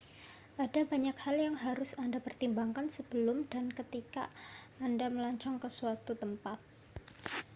ada banyak hal yang harus anda pertimbangkan sebelum dan ketika anda melancong ke suatu tempat